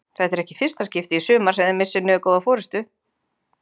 Þetta er ekki í fyrsta skipti í sumar sem þið missið niður góða forystu?